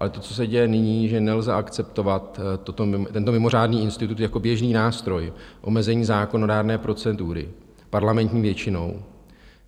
Ale to, co se děje nyní, že nelze akceptovat tento mimořádný institut jako běžný nástroj omezení zákonodárné procedury parlamentní většinou.